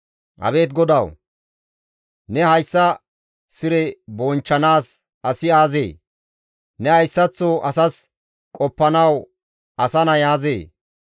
Abeet GODAWU! Ne hayssa sire bonchchanaas asi aazee? Ne hayssaththo asas qoppanawu asa nay aazee?